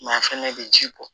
a fɛnɛ bɛ ji bɔ